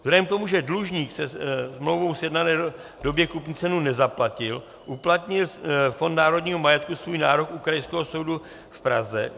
Vzhledem k tomu, že dlužník ve smlouvou sjednané době kupní cenu nezaplatil, uplatnil Fond národního majetku svůj nárok u Krajského soudu v Praze.